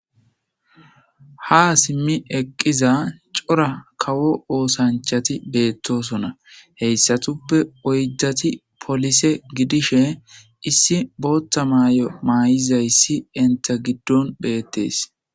Haa simmi eqqiza cora kawo oosanchati beetosona; heyssatuppe oyddati polise gidishin issi booththa mayo mayizayssi entta giddon beetees.